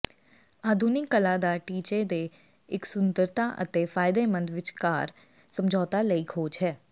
ਆਧੁਨਿਕ ਕਲਾ ਦਾ ਟੀਚੇ ਦੇ ਇੱਕ ਸੁੰਦਰਤਾ ਅਤੇ ਫ਼ਾਇਦੇਮੰਦ ਵਿਚਕਾਰ ਸਮਝੌਤੇ ਲਈ ਖੋਜ ਹੈ